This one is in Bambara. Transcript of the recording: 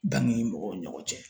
Danni mɔgɔw ni ɲɔgɔn cɛ